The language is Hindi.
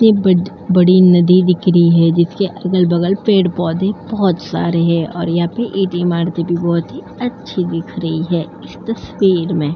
ये ब बड़ी नदी दिख रही है जिसके अगल-बगल पेड़-पौधे बहुत सारे हैं और यहाँ अच्छी दिख रही है इस तस्वीर में।